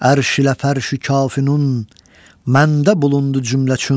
Ərş ilə fərş-ü kaf-ü nun, məndə bulundu cüməçün.